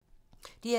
DR2